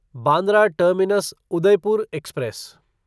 Bandra terminus Udaipur express